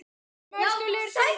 En stenst það í raun?